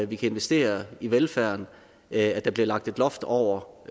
vi kan investere i velfærden at der bliver lagt et loft over